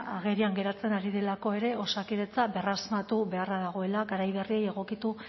agerian geratzen ari direlako ere osakidetza berrasmatu beharra dagoela garai berriei egokitu